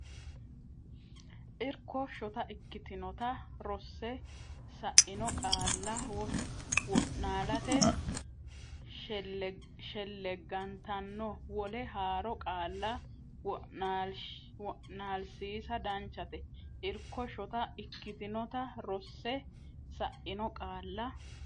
Irko Shota ikkitinota rosse sa ino qaalla wo naalate shelleggantanno wole haaro qaalla wo naalsiisa danchate Irko Shota ikkitinota rosse sa ino qaalla.